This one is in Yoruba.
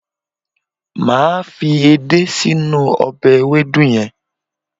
Màá fi èdé sí inú ọbẹ̀ ewédú yẹn